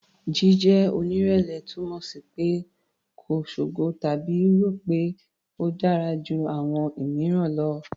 Jíjẹ́ onírẹ̀lẹ̀ túmọ̀ sí pé kò ṣogo tàbí rò pé a dára ju àwọn mìíràn lọ.